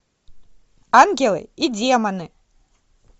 ангелы и демоны